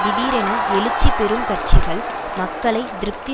திடீரென எழுச்சி பெறும் கட்சிகள் மக்களை திருப்தி